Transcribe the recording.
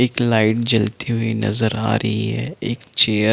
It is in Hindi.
एक लाइट जलती हुई नज़र आ रही है एक चेयर --